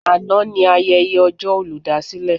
Àná ni ayẹyẹ ọjọ́ olùdásílẹ̀.